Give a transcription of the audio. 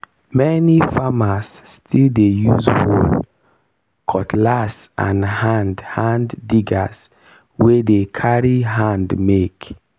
many farmers still dey use hoe. cutlass and hand hand diggers wey dey carry hand make.